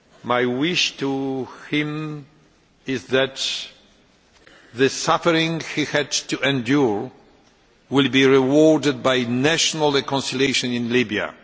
My wish to him is that the suffering he had to endure will be rewarded by national reconciliation in Libya.